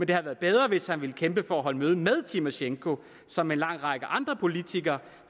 det havde været bedre hvis han havde villet kæmpe for at holde møde med tymosjenko som en lang række andre politikere